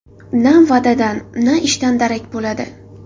Na va’dadan, na ishdan darak bo‘ladi.